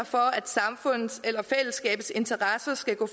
for at samfundets eller fællesskabets interesser skal gå